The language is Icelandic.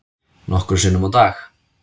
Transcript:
Nokkrum sinnum á dag.